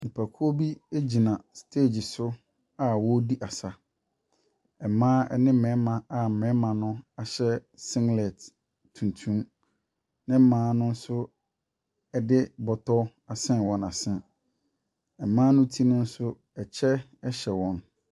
Nnipakuo bi gyina stage so a wɔredi asa. Mmaa ne mmarima a mmarima no hyɛ singlet tuntum, na mmaa no so de bɔtɔ asɛn wɔn ase. Mmaa ne ti so, kyɛ hyɛ wɔn.